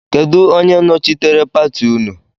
Kedụ onye nochitere pati nnu?